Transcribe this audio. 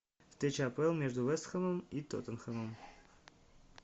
встреча апл между вест хэмом и тоттенхэмом